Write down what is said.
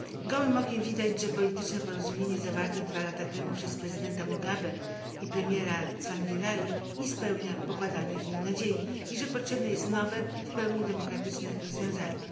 Gołym okiem widać, że polityczne porozumienie zawarte 2 lata temu przez prezydenta Mugabe i premiera Tsvangirai nie spełnia pokładanych w nich nadziei i że potrzebne jest nowe, w pełni demokratyczne rozwiązanie.